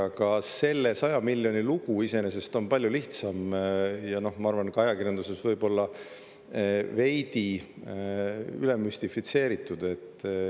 Aga selle 100 miljoni lugu iseenesest on palju lihtsam, ja ma arvan, et ka ajakirjanduses võib-olla veidi üle müstifitseeritud.